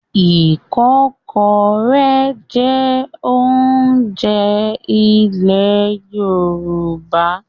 Ìkọ́kọrẹ́ jẹ́ oúnjẹ ilẹ̀ Yorùbá.